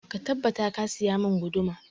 Ka tabbata ka saya mun guduma!